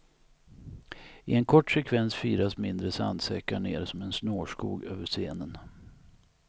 I en kort sekvens firas mindre sandsäckar ner som en snårskog över scenen.